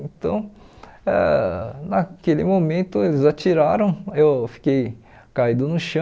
Então, ãh naquele momento, eles atiraram, eu fiquei caído no chão,